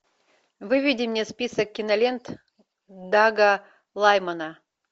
выведи мне список кинолент дага лаймана